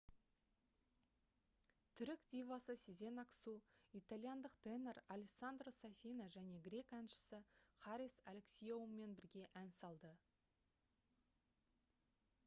түрік дивасы сезен аксу итальяндық тенор алессандро сафина және грек әншісі харис алексиоумен бірге ән салды